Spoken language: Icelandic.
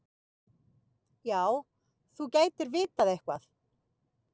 Já, þú gætir vitað eitthvað.